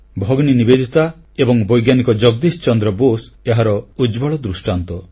ଭଗିନୀ ନିବେଦିତା ଏବଂ ବୈଜ୍ଞାନିକ ଜଗଦୀଶ ଚନ୍ଦ୍ର ବୋଷ ଏହାର ଉଜ୍ଜ୍ୱଳ ଦୃଷ୍ଟାନ୍ତ